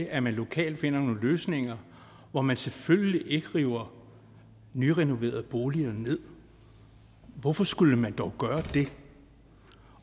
at man lokalt finder nogle løsninger hvor man selvfølgelig ikke river nyrenoverede boliger nederst hvorfor skulle man dog gøre det